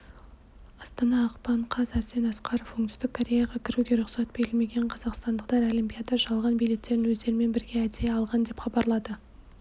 астана ақпан қаз арсен асқаров оңтүстік кореяға кіруге рұқсат берілмеген қазақстандықтар олимпиада жалған билеттерін өздерімен бірге әдейі алған деп хабарлады